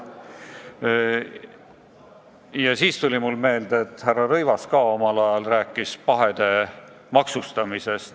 Mulle tuli selle peale meelde, et härra Rõivas ka omal ajal rääkis pahede maksustamisest.